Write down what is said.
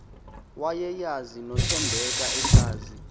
wayeyazi nothembeka esazi